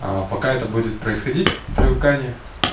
а пока это будет происходить в привыкании